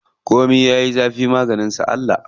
Komi yayi zafi maganin sa Allah.